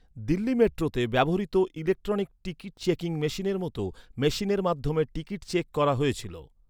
দিল্লি মেট্রোতে ব্যবহৃত electronic ticket checking মেশিনের মতো মেশিনের মাধ্যমে টিকিট চেক করা হয়েছিল।